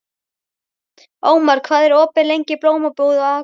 Ómar, hvað er opið lengi í Blómabúð Akureyrar?